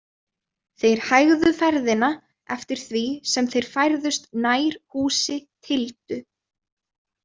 Þeir hægðu ferðina eftir því sem þeir færðust nær húsi Tildu.